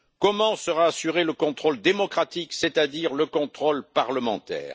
Comment sera assuré le contrôle démocratique, c'est à dire le contrôle parlementaire?